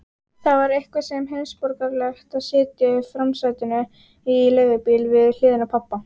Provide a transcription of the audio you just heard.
Það var eitthvað svo heimsborgaralegt að sitja í framsætinu í leigubíl við hliðina á pabba.